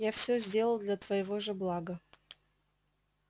я все сделал для твоего же блага